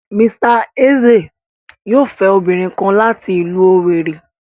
Mr Eze yoo fẹ obinrin kan lati ilu Owerri